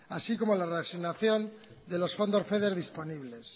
así como la reasignación de los fondos feder disponibles